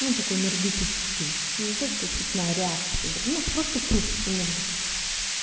ну такой энергетический ну то что цепная реакция ну просто круг энергетический